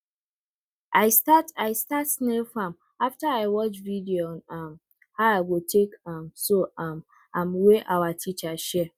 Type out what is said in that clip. i start i start snail farm after i watch video on um how i go take um so um am wey our teacher share